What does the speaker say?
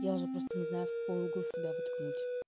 я уже просто не знаю в какой угол себя воткнуть